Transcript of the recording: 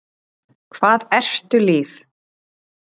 Hvað ertu líf?